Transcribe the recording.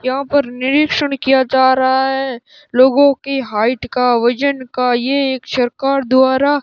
यहां पर निरीक्षण किया जा रहा है लोगों की हाइट का वजन का ये एक सरकार द्वारा --